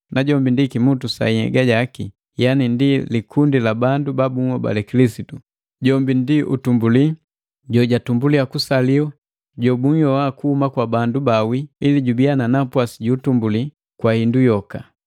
Najombi ndi kimutu sa nhyega jaki yani ndi likundi la bandu ba bunhobale Kilisitu; jombi ndi utumbuli, jojatumbuliya kusaliwa, jobunhyoa kuhuma kwa bandu bawii, ili jubiya na napwasi ju utumbuli kwa hindu yoka.